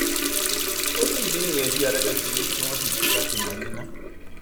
ó ní ìdí nìyẹn tí adájọ fi ní kí wọn sì fi í sátìmọlé ná